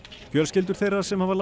fjölskyldur þeirra sem hafa